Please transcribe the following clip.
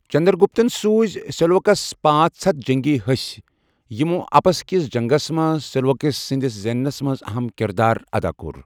چنٛدرٛگُپتن سوِٗزِ سیٚلیٛوکَسس پانژھ ہتھَ جٔنٛگی ہسہِ، یِمو اِپسَس کِس جنٛگس منٛز سیلیوکس سٕنٛدِس زینٛنَس منٛز اَہم کِردار اَدا کوٚر۔